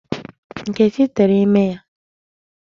Nkechi tere ime ya.